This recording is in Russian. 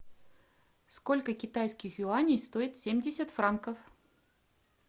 сколько китайских юаней стоит семьдесят франков